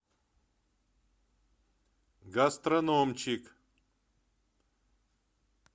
гастрономчик